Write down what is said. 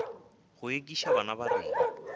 go ekiša bana ba rena